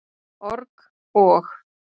org- og.